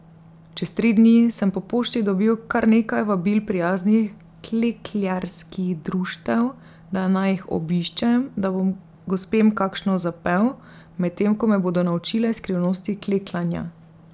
Čez tri dni sem po pošti dobil kar nekaj vabil prijaznih klekljarskih društev, da naj jih obiščem, da bom gospem kakšno zapel, medtem ko me bodo naučile skrivnosti kleklanja.